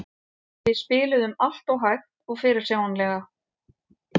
Við spiluðum alltof hægt og fyrirsjáanlega.